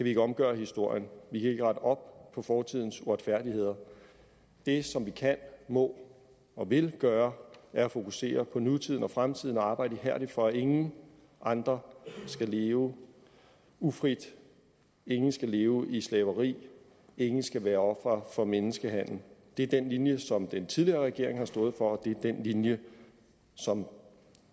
ikke omgøre historien vi kan ikke rette op på fortidens uretfærdigheder det som vi kan må og vil gøre er at fokusere på nutiden og fremtiden og arbejde ihærdigt for at ingen andre skal leve ufrit ingen skal leve i slaveri ingen skal være ofre for menneskehandel det er den linje som den tidligere regering har stået for og det er den linje som